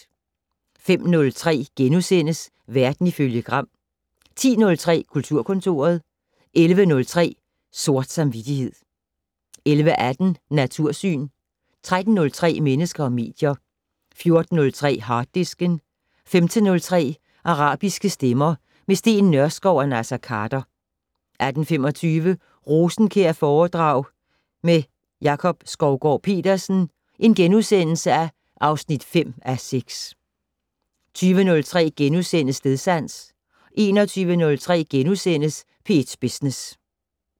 05:03: Verden ifølge Gram * 10:03: Kulturkontoret 11:03: Sort samvittighed 11:18: Natursyn 13:03: Mennesker og medier 14:03: Harddisken 15:03: Arabiske stemmer - med Steen Nørskov og Naser Khader 18:25: Rosenkjærforedrag med Jakob Skovgaard-Petersen (5:6)* 20:03: Stedsans * 21:03: P1 Business *